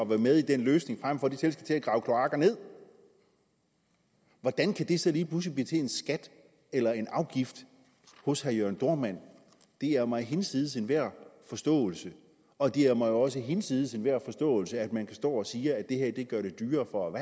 være med i den løsning frem for de skal til at grave kloakker nederst hvordan kan det så lige pludselig blive til en skat eller en afgift hos herre jørn dohrmann det er mig hinsides enhver forståelse og det er mig også hinsides enhver forståelse at man kan stå og sige at det her gør det dyrere for